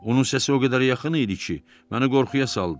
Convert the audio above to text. Onun səsi o qədər yaxın idi ki, məni qorxuya saldı.